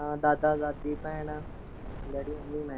ਹਾਂ ਦਾਦਾ - ਦਾਦੀ, ਭੈਣਾਂ, ਡੈਡੀ ਮੰਮੀ ਹੁਣੇ।